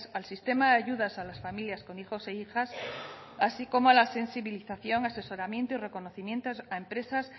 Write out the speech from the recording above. al sistema de ayudas a las familias con hijos e hijas así como a la sensibilización asesoramiento y reconocimiento a empresas